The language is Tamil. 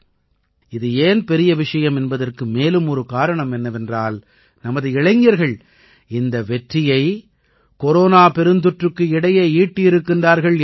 இது ஏன் பெரிய விஷயம் என்பதற்கு மேலும் ஒரு காரணம் என்னவென்றால் நமது இளைஞர்கள் இந்த வெற்றியை கொரோனா பெருந்தொற்றுக்கு இடையே ஈட்டியிருக்கிறார்கள் என்பது தான்